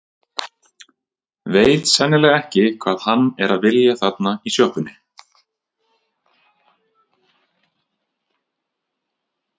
Veit sennilega ekki hvað hann er að vilja þarna í sjoppunni.